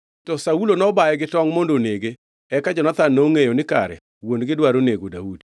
To Saulo nobaye gi tongʼ mondo onege. Eka Jonathan nongʼeyo ni kare wuon-gi dwaro nego Daudi.